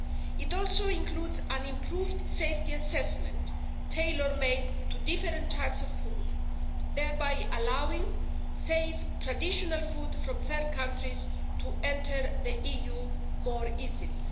It also includes an improved safety assessment, tailor made to different types of foods, thereby allowing safe traditional food from third countries to enter the EU more easily.